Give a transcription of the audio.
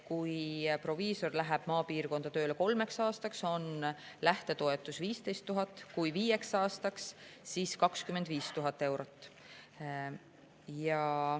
Kui proviisor läheb maapiirkonda tööle kolmeks aastaks, on lähtetoetus 15 000 eurot, kui viieks aastaks, siis 25 000 eurot.